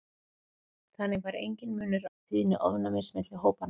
þannig var enginn munur á tíðni ofnæmis milli hópanna